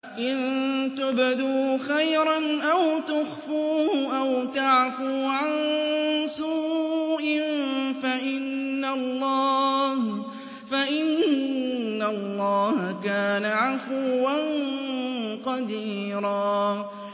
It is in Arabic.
إِن تُبْدُوا خَيْرًا أَوْ تُخْفُوهُ أَوْ تَعْفُوا عَن سُوءٍ فَإِنَّ اللَّهَ كَانَ عَفُوًّا قَدِيرًا